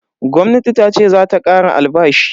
Gwamnati tace zata kara albashi.